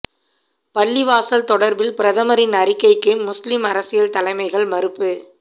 பள்ளிவாசல் தொடர்பில் பிரதமரின் அறிக்கைக்கு முஸ்லிம் அரசியல் தலைமைகள் மறுப்பு